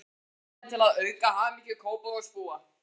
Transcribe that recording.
Tilvalinn til að auka hamingju Kópavogsbúa.